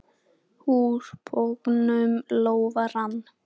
Úr bognum lófa rann.